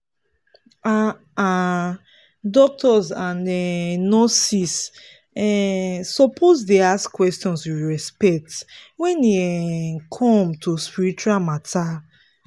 ah ah doctors and um nurses um suppose dey ask questions with respect wen e um come to spiritual matter.